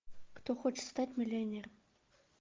кто хочет стать миллионером